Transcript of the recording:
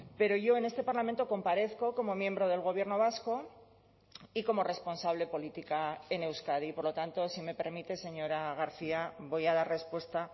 pero yo en este parlamento comparezco como miembro del gobierno vasco y como responsable política en euskadi y por lo tanto si me permite señora garcia voy a dar respuesta